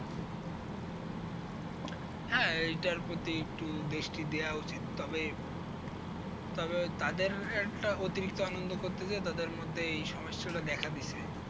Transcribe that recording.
হ্যাঁ এইটার প্রতি একটু দৃষ্টি দেওয়া উচিৎ তবে, তবে তাদের একটা অতিরিক্ত আনন্দ করতে গিয়ে তাদের মধ্যে এই সমস্যাটা দেখা দিছে।